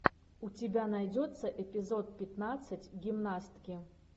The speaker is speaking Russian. у тебя найдется эпизод пятнадцать гимнастки